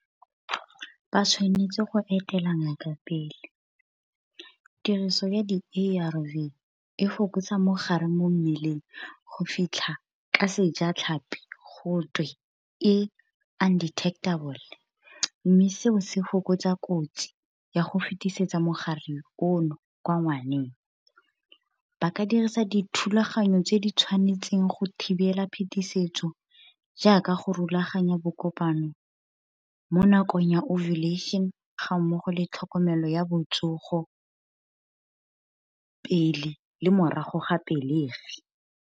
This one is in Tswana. Ba tshwanetse go etela ngaka pele, tiriso ya di-A_R_V e fokotsa mogare mo mmeleng go fitlha ka sejatlhapi gotwe e undetectable. Mme seo se fokotsa kotsi ya go fetisetsa mogare ono kwa ngwaneng. Ba ka dirisa dithulaganyo tse di tshwanetseng go thibela phetisetso, jaaka go rulaganya bo kopano mo nakong ya ovulation, ga mmogo le tlhokomelo ya botsogo pele, le morago ga pelegi.